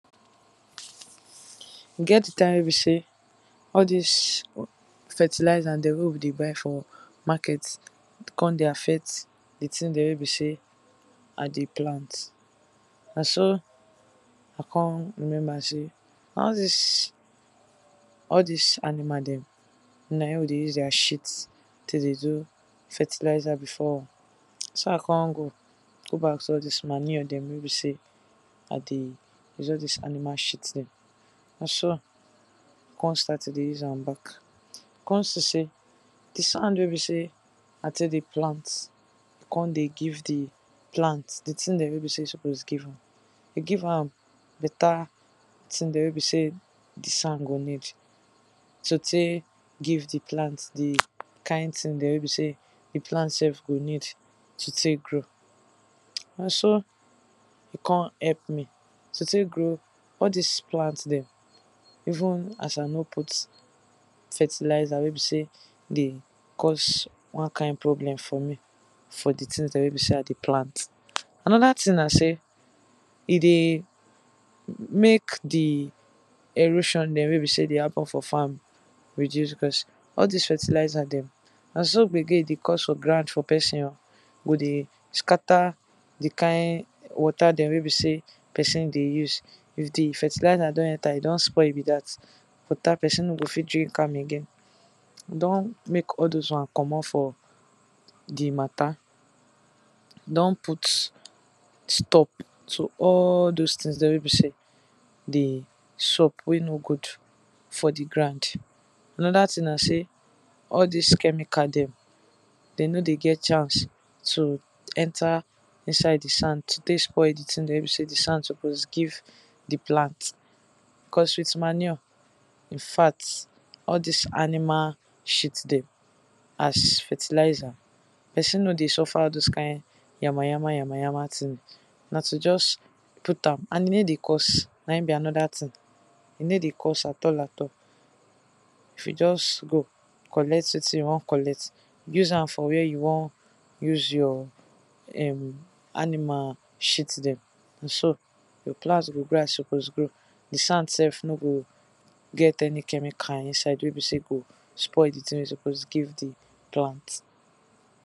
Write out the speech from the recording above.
E get di time wey be sey all dis fertilizer dem wey be sey we dey buy for market come dey affect di things dem wey be sey I dey plant. Na so I come remember sey, all dis all dis animal dem na im we dey use their shit tae dey do fertilizer before, na so I come go go back to all dis manure dem wey be sey I dey use all dis animal shit dem, na so na so I take dey use am back, I come see am sey, di sand dem wey I take dey plant come dey give di thing wey e suppose give. Dey give am better things dem we be sey di sand go need to take give di plant di kind thing dem wey be sey di plant go need to take grow. Na so e come help me to take grow all dis plant dem, even as I no put fertilizer wey be sey dey cause one kind problem for me, for di things dem wey be sey I dey plant, another thing na sey, e dey make di make di erosion dem wey dey happen for farm reduce because all dis fertilizer dem, na so so gbege e dey cause for ground for person oh, go dey scatter di kind water dem, wey be sey person dey use, if di fertilizer don enter, e don spoil be dat, water person no go fit drink am again, e don make all doz ones komot for di matter, e don put stop to all doz things dem wey be sey dey xup, wey no good for di ground. Another thing na sey all dis chemical dem, dem nor dey get chance to enter inside di ground take spoil d i thing dem wey di sand suppose give di plant, because with manure infact all dis animal shit dem, as fertilizer, person nor dey suffer all dis yama yama, yama yama, tjing, na to just put am, and e no dey cost na im be another thing, e no dey cost at all at all, if you just go, collect wetin you wan collect, use am for where you wan use your [urn] animal shit dem na so, your plant go grow as e suppose grow, di sand sef no go get any chemical inside wey be sey e go spoil di thing wey e suppose give di plant.